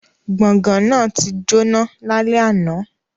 Gbongan náà ti jona lale ana